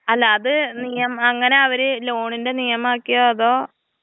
അല്ല അത് നിയമം അങ്ങനെ അവരത് ലോണിന്റെ നിയമം ആക്കിയോ അതോ.